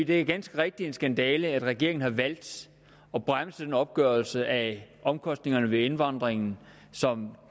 det er ganske rigtigt en skandale at regeringen har valgt at bremse den opgørelse af omkostningerne ved indvandringen som